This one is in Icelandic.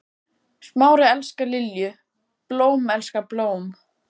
Smári elskar Lilju, blóm elskar blóm.